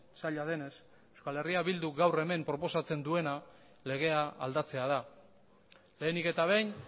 zaila denez euskal herria bilduk gaur hemen proposatzen duena legea aldatzea da lehenik eta behin